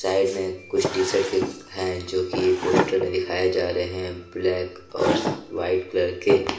इसमें में कुछ टी_शर्ट के हैं जो कि एक पोस्टर दिखाई जा रहे हैं ब्लैक और वाइट कलर के।